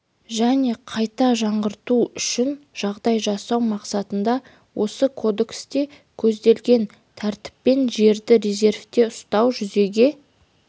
және қайта жаңғырту үшін жағдай жасау мақсатында осы кодексте көзделген тәртіппен жерді резервте ұстау жүзеге